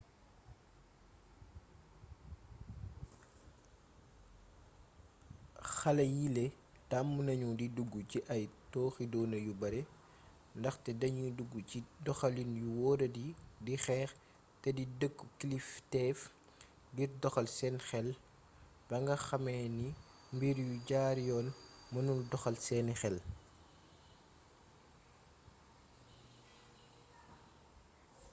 xale yiile tàmm nañu di dugg ci ay tooxiduuna yu bare ndaxte danuy dugg ci doxalin yu wóoradi di xeex te di dëkku kilifteef ngir doxal seen xel ba nga xamee ni mbir yu jaar yoon mënul doxal seeni xel